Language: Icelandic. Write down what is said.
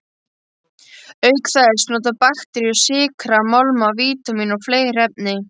Auk þess nota bakteríur sykra, málma, vítamín og fleiri efni.